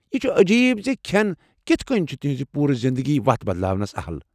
یہ چھ عجیب زِ کھٮ۪ن کتھ کٕنۍ چُھ تہنٛز پوٗرٕ زندگی وتھ بدلٲونس اہل ۔